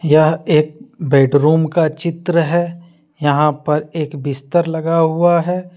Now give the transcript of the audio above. यह एक बेडरूम का चित्र है यहां पर एक बिस्तर लगा हुआ है।